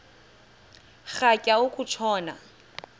rhatya uku tshona